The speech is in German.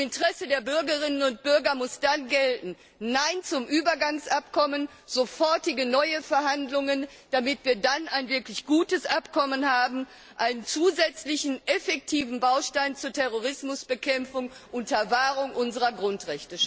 Im Interesse der Bürgerinnen und Bürger muss dann gelten Nein zum Übergangsabkommen, sofortige neue Verhandlungen, damit wir dann ein wirklich gutes Abkommen, einen zusätzlichen, effektiven Baustein zur Terrorismusbekämpfung unter Wahrung unserer Grundrechte haben!